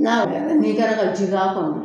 N'a jara n'i kilara ka ji k'a kɔnɔ